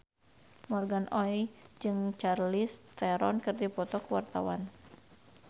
Morgan Oey jeung Charlize Theron keur dipoto ku wartawan